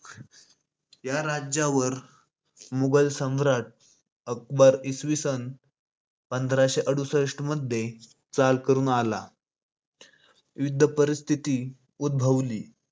या राज्यावर मुगल सम्राट अकबर इसवी सन पंधराशे ‌अडुसष्ठमध्ये चाल करून आला. युद्ध परिस्थिती उद्भवली